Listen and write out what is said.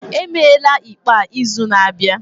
Emeela ikpe a n'izu na-abịa